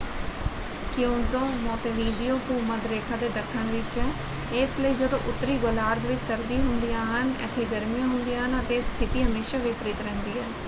ਕਿਉਂਜੋ Montevideo ਭੂ-ਮੱਧ ਰੇਖਾ ਦੇ ਦੱਖਣ ਵਿੱਚ ਹੈ ਇਸ ਲਈ ਜਦੋਂ ਉੱਤਰੀ ਗੋਲਾਰਧ ਵਿੱਚ ਸਰਦੀ ਹੁੰਦੀਆਂ ਹਨ ਇੱਥੇ ਗਰਮੀ ਹੁੰਦੀਆਂ ਹਨ ਅਤੇ ਇਹ ਸਥਿਤੀ ਹਮੇਸ਼ਾ ਵਿਪਰੀਤ ਰਹਿੰਦੀ ਹੈ।